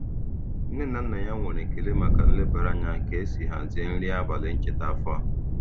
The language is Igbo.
Nne na nna ya nwere ekele maka nlebara anya ka esi hazie nri abalị ncheta afọ a.